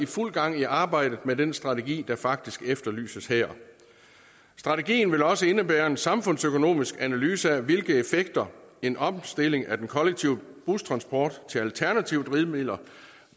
fuld gang i arbejdet med den strategi der faktisk efterlyses her strategien vil også indebære en samfundsøkonomisk analyse af hvilke effekter en omstilling af den kollektive bustransport til alternative drivmidler